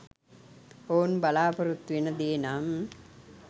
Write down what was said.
ඔවුන් බලාපොරොත්තුවෙන දේනම් .